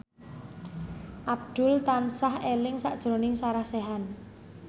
Abdul tansah eling sakjroning Sarah Sechan